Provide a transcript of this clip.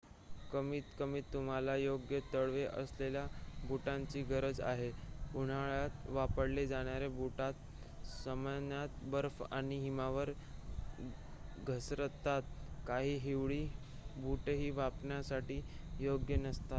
कमीतकमी तुम्हाला योग्य तळवे असलेल्या बुटांची गरज आहे उन्हाळ्यात वापरले जाणारे बूट सामान्यतः बर्फ आणि हिमावर घसरतात काही हिवाळी बूटही वापरण्यासाठी योग्य नसतात